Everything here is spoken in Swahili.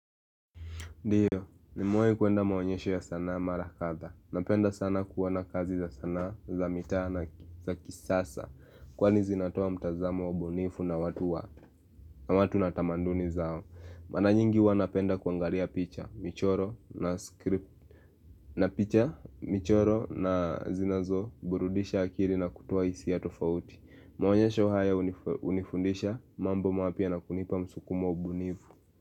Ndiyo, nimewai kuenda maonyesho ya sanaa mara kadha. Napenda sana kuona kazi za sanaa, za mitaa na za kisasa. Kwani zinatoa mtazamo wa ubunifu na watu na tamaduni zao. Mara nyingi huwa napenda kuangalia picha, michoro na script. Na picha, michoro na zinazo, burudisha akili na kutoa hisi a tofauti. Maonyesho haya unifundisha, mambo mapya na kunipa msukumo wa ubunifu.